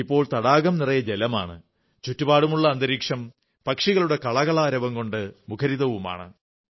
ഇപ്പോൾ തടാകം നിറയെ ജലമാണ് ചുറ്റുപാടുമുള്ള അന്തരീക്ഷം പക്ഷികളുടെ കളകളാരവം കൊണ്ട് മുഖരിതവുമാണ്